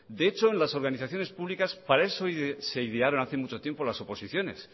de hecho en las organizaciones públicas para eso se idearon hace mucho tiempo las oposiciones